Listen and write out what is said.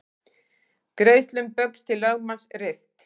Greiðslum Baugs til lögmanns rift